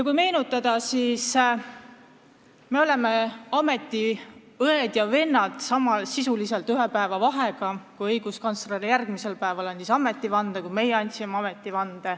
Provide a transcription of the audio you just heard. Kui meenutada, siis meist said ametiõed ja -vennad sisuliselt ühepäevase vahega: õiguskantsler andis ametivande päev pärast seda, kui meie tööd alustasime.